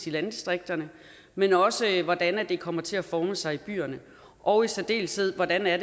i landdistrikterne men også hvordan det kommer til at forme sig i byerne og i særdeleshed hvordan det er